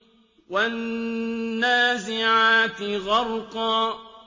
وَالنَّازِعَاتِ غَرْقًا